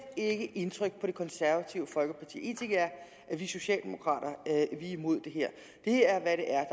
ikke indtryk på det konservative folkeparti en ting er at vi socialdemokrater er imod det her det er hvad det er